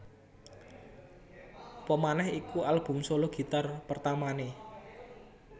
Apamaneh iku album solo gitar pertamané